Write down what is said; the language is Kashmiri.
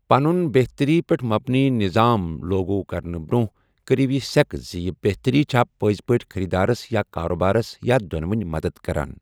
پنٗن بہتری پیٹھ مبنی نِظام لوگوٗ كرنہٕ برونہہ ، كرِیو یہِ سیكہٕ زِ یہِ بہتری چھا پٕزِ پٲٹھۍ خریدارس یا كاربارس یا دو٘نونی مدتھ كران ۔